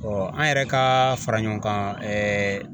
an yɛrɛ ka fara ɲɔgɔn kan